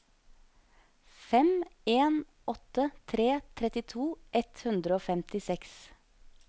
fem en åtte tre trettito ett hundre og femtiseks